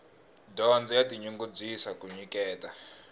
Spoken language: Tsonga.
dyondzo ya tinyungubyisa ku nyiketa